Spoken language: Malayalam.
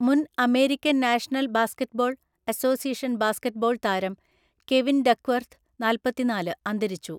മുൻ American National Basketball Association basketball താരം കെവിൻ ഡക്ക്വർത്ത് (നാല്പത്തിനാല്) അന്തരിച്ചു.